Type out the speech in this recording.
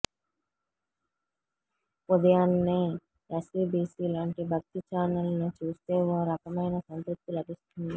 ఉదయాన్నే ఎస్వీబీసీ లాంటి భక్తి ఛానెల్ను చూస్తే ఓ రకమైన సంతృప్తి లభిస్తుంది